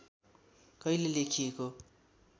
कहिले लेखिएको